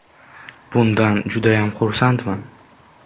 Bundan judayam xursandman”.